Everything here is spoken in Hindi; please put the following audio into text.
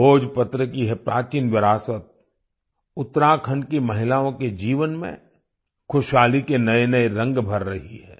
भोजपत्र की यह प्राचीन विरासत उत्तराखंड की महिलाओं के जीवन में खुशहाली के नएनए रंग भर रही है